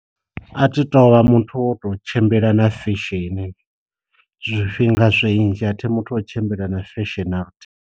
A thi tovha muthu wa u to tshimbila na fesheni, zwifhinga zwinzhi athi muthu o tshimbila na fesheni na luthihi.